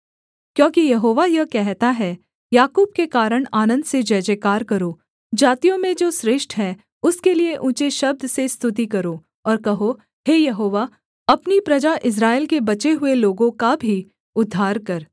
क्योंकि यहोवा यह कहता है याकूब के कारण आनन्द से जयजयकार करो जातियों में जो श्रेष्ठ है उसके लिये ऊँचे शब्द से स्तुति करो और कहो हे यहोवा अपनी प्रजा इस्राएल के बचे हुए लोगों का भी उद्धार कर